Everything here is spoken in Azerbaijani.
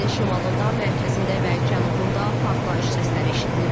Ölkənin şimalında, mərkəzində və cənubunda partlayış səsləri eşidilib.